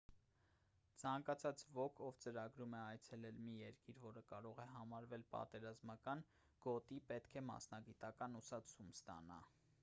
ցանկացած ոք ով ծրագրում է այցելել մի երկիր որը կարող է համարվել պատերազմական գոտի պետք է մասնագիտական ուսուցում ստանա